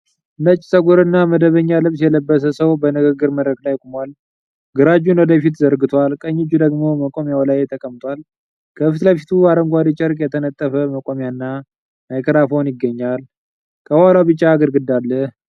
ነጭ ጸጉር እና መደበኛ ልብስ የለበሰ ሰው በንግግር መድረክ ላይ ቆሟል። ግራ እጁን ወደ ፊት ዘርግቷል፣ ቀኝ እጁ ደግሞ መቆሚያው ላይ ተቀምጧል። ከፊት ለፊቱ አረንጓዴ ጨርቅ የተነጠፈ መቆሚያ እና ማይክሮፎን ይገኛል። ከኋላው ቢጫ ግድግዳ አለ።